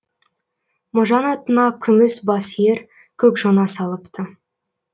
можан атына күміс бас ер көк жона салыпты